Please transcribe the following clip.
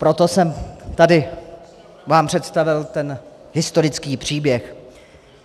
Proto jsem vám tady představil ten historický příběh.